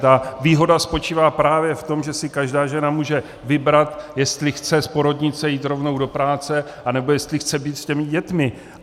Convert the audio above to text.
Ta výhoda spočívá právě v tom, že si každá žena může vybrat, jestli chce z porodnice jít rovnou do práce, anebo jestli chce být s těmi dětmi.